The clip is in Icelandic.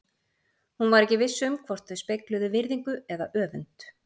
Hún var ekki viss um hvort þau spegluðu virðingu eða öfund?